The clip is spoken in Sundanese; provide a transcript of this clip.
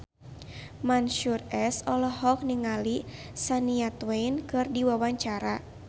Mansyur S olohok ningali Shania Twain keur diwawancara